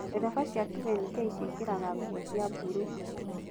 Ndereba cia 2nk ciĩkĩraga nguo cia mburuu.